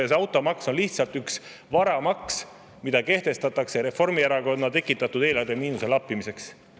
Ja see automaks on lihtsalt üks varamaks, mis kehtestatakse Reformierakonna tekitatud eelarvemiinuse lappimiseks.